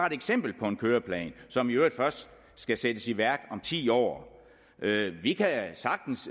ét eksempel på en køreplan som i øvrigt først skal sættes i værk om ti år vi kan sagtens